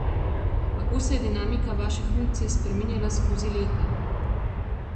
Kako se je dinamika vaše funkcije spreminjala skozi leta?